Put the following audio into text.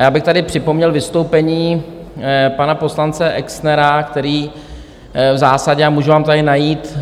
A já bych tady připomněl vystoupení pana poslance Exnera, který v zásadě, a můžu vám tady najít